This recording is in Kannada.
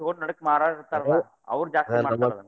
ತುಗೊಂಡ ನಡಕ ಮರೋರ್ ಇರ್ತಾರ್ಲಾ ಅವ್ರ ಜಾಸ್ತಿ ಮಾಡ್ತರ್.